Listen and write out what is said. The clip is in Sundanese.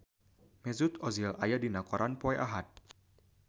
Mesut Ozil aya dina koran poe Ahad